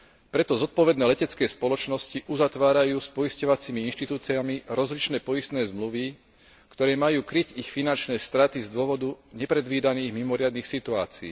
Preto zodpovedné letecké spoločnosti uzatvárajú s poisťovacími inštitúciami rozličné poistné zmluvy, ktoré majú kryť ich finančné straty z dôvodu nepredvídaných mimoriadnych situácií.